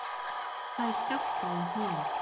Fæ skjálfta í hnén.